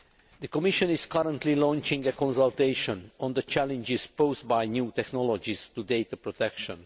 The Commission is currently launching a consultation on the challenges posed by new technologies to data protection.